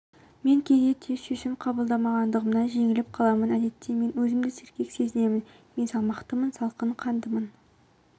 мен кейде тез шешім қабылдамағандығымнан жеңіліп қаламын әдетте мен өзімді сергек сезінемін мен салмақтымын салқын қандымын